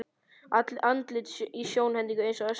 Andlit í sjónhendingu eins og öskur.